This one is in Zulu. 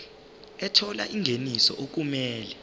ethola ingeniso okumele